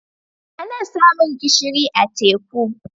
Ana samun gishiri a teku.